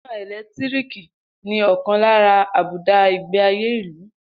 Iná ẹ̀lẹ́tíríkì ni ọ̀kan lára àbùdá ìgbé ayé ìlú